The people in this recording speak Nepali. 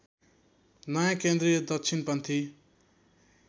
नयाँ केन्द्रीय दक्षिणपन्थी